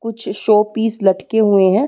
कुछ शो-पीस लटके हुए हैं।